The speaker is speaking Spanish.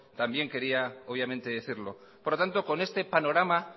también quería obviamente decirlo por lo tanto con este panorama